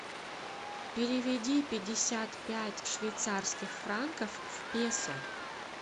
переведи пятьдесят пять швейцарских франков в песо